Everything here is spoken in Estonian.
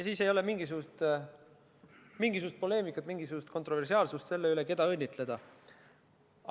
Siis ei ole mingisugust poleemikat, mingisugust kontroversiaalsust, keda õnnitleda.